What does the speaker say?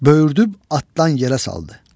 Böyürdüb atdan yerə saldı.